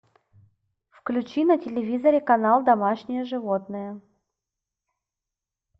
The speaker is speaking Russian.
включи на телевизоре канал домашние животные